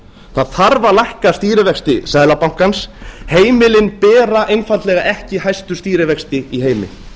það þarf að lækka stýrivexti seðlabankans heimilin bera einfaldlega ekki hæstu stýrivexti í heimi